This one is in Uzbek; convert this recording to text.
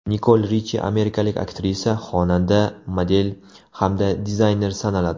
Nikol Richi amerikalik aktrisa, xonanda, model hamda dizayner sanaladi.